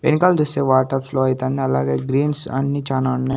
వెనకాల చూస్తే water flow అయితంది అలాగే గ్రీన్స్ అన్ని చానా ఉన్నాయి.